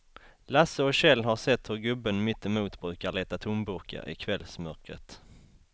Lasse och Kjell har sett hur gubben mittemot brukar leta tomburkar i kvällsmörkret.